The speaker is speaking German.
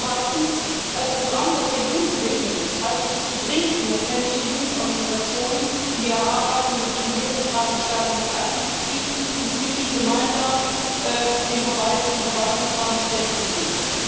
Zweitens Als Programm, das der Jugend gewidmet ist, halte ich es für dringend notwendig, die Jugendorganisationen in die Erarbeitung des Regulierungsrahmens stärker mit einzubeziehen und mit ihnen gemeinsam den Verwaltungsrahmen festzulegen.